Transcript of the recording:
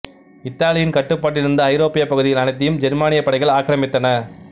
இத்தாலியின் கட்டுப்பாட்டிலிருந்த ஐரோப்பிய பகுதிகள் அனைத்தையும் ஜெர்மானியப் படைகள் ஆக்கிரமித்தன